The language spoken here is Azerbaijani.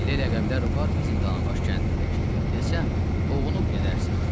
Elə ləqəblər var bizim Danabaş kəndində ki, desəm, oxunub gedərsən.